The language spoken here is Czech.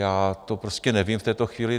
Já to prostě nevím v této chvíli.